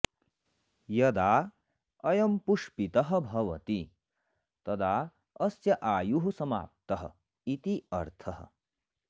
यदा अयं पुष्पितः भवति तदा अस्य आयुः समाप्तः इति अर्थः